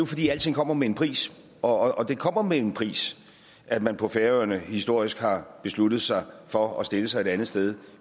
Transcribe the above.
fordi alting kommer med en pris og det kommer med en pris at man på færøerne historisk har besluttet sig for at stille sig et andet sted